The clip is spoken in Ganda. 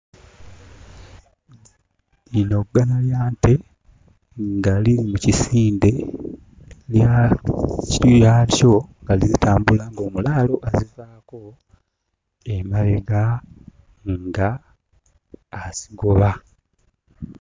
Lino ggana lya nte nga liri mu kisinde lya lyako nga zitambula ng'omulaalo azivaako emabega ng'azigoba.